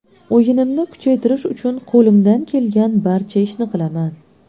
O‘yinimni kuchaytirish uchun qo‘limdan kelgan barcha ishni qilaman.